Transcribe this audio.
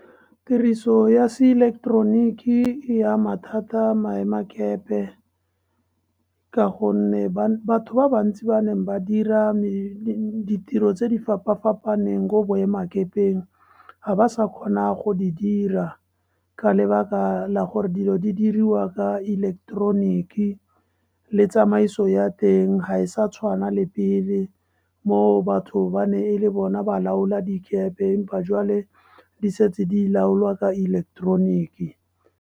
Tiriso ya se ileketeroniki e ama thata maemakape, ka gonne batho ba bantsi ba neng ba dira ditiro tse di fapa-fapaneng ko boemakepeng ga ba sa kgona go di dira ka lebaka la gore dilo di diriwa ka ileketoroniki, le tsamaiso ya teng ha e sa tshwana le pele, mo batho ba ne e le bona ba laola dikepe empa jwale di setse di laolwa ka ileketoroniki.